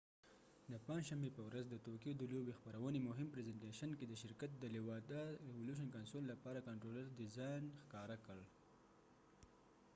د پنجشنبې په ورځ د توکیو د لوبې خپرونې مهم پرزنتیشن کې nintendo president satoru lwata د شرکت د nintendo revolution console لپاره کنترولر ډیزان ښکاره کړ